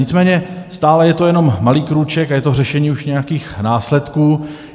Nicméně stále je to jenom malý krůček a je to řešení už nějakých následků.